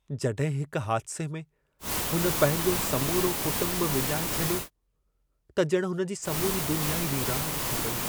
जॾहिं हिक हादिसे में हुन पंहिंजो समूरो कुटुंब विञाए छॾियो, त ॼण हुन जी समूरी दुनिया ई वीरानु थी पेई।